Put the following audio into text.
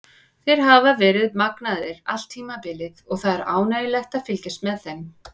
Þeir hafa verið magnaðir allt tímabilið og það er ánægjulegt að fylgjast með þeim.